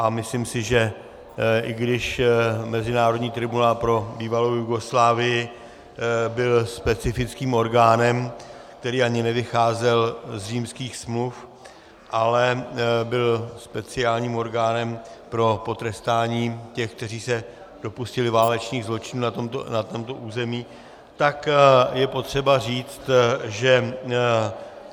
A myslím si, že i když Mezinárodní tribunál pro bývalou Jugoslávii byl specifickým orgánem, který ani nevycházel z Římských smluv, ale byl speciálním orgánem pro potrestání těch, kteří se dopustili válečných zločinů na tomto území, tak je potřeba říct, že -